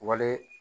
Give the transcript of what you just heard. Wale